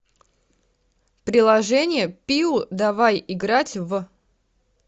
приложение пиу давай играть в